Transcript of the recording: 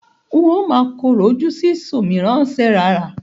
N ó máa korò ojú sí ṣòmìrán-ṣerààrá.